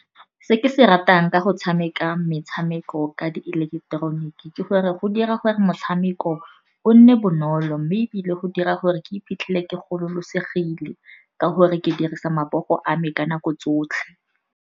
Se ke se ratang ka go tshameka metshameko ka di ileketeroniki ke gore go dira gore motshameko o nne bonolo, mme ebile go dira gore ke iphitlhele ke gololosegile ka gore ke dirisa matsogo a me ka nako tsotlhe.